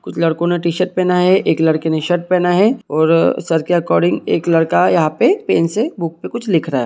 कुछ लड़कों ने टीशर्ट पहना है एक लड़के ने शर्ट पहना है और सर के आकॉर्डिंग एक लड़का यहा पे पेन से बुक पे कुछ लिख रहा है।